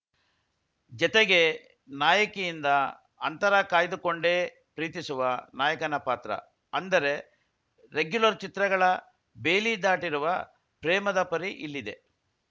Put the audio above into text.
ಜತೆಗೆ ನಾಯಕಿಯಿಂದ ಅಂತರ ಕಾಯ್ದುಕೊಂಡೇ ಪ್ರೀತಿಸುವ ನಾಯಕನ ಪಾತ್ರ ಅಂದರೆ ರೆಗ್ಯೂಲರ್‌ ಚಿತ್ರಗಳ ಬೇಲಿ ದಾಟಿರುವ ಪ್ರೇಮದ ಪರಿ ಇಲ್ಲಿದೆ